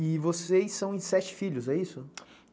E vocês são em sete filhos, é isso?